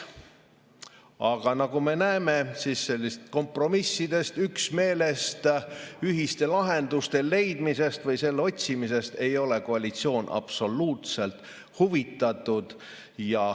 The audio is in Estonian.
Aga nagu me näeme, sellistest kompromissidest, üksmeelest, ühiste lahenduste leidmisest või nende otsimisest ei ole koalitsioon absoluutselt huvitatud.